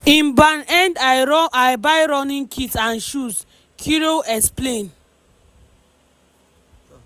im ban end i buy running kit and shoes" kirui explain.